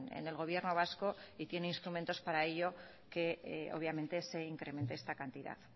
en el gobierno vasco y tiene instrumentos para ello que obviamente se incremente esta cantidad